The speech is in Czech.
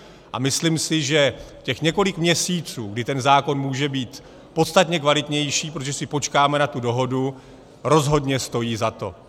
A myslím si, že těch několik měsíců, kdy ten zákon může být podstatně kvalitnější, protože si počkáme na tu dohodu, rozhodně stojí za to.